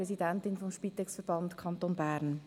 Ich bin Präsidentin des Spitex-Verbands Kanton Bern.